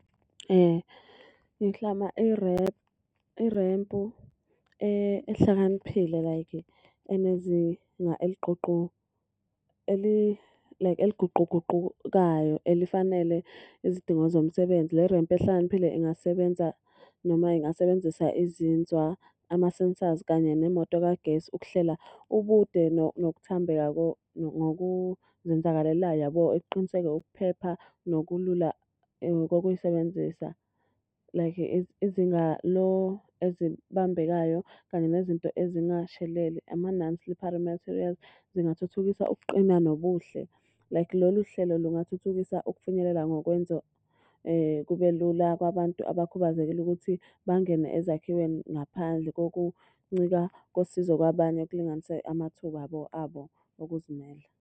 Ngiklama irempu ehlakaniphile like enezinga like eliguquguqukayo elifanele izidingo zomsebenzi. Le rempu ehlakaniphile ingasebenza noma ingasebenzisa izinzwa, amasensazi kanye nemoto kagesi ukuhlela ubude nokuthambeka ngokuzenzakalelayo yabo. Ekuqiniseka ukuphepha nokulula kokuyisebenzisa, like izinga ezibambekayo kanye nezinto ezingasheleli, ama-non-slippery materials, zingathuthukisa ukuqina nobuhle. Like lolu hlelo lungathuthukisa ukufinyelela ngokwenza kube lula kwabantu abakhubazekile ukuthi bangene ezakhiweni ngaphandle kokuncika kosizo kwabanye ekulinganise amathuba abo abo okuzimele.